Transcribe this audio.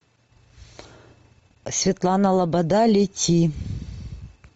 светлана лобода лети